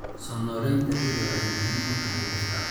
Soo noolaynta ciidda waxay muhiim u tahay dhirta.